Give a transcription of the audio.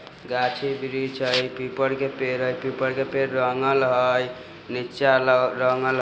गाछी ब्रीच हई पीपर के पेड़ हई पीपर के पेर रंगल हई नीचा रंगल हई ।